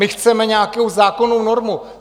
My chceme nějakou zákonnou normu.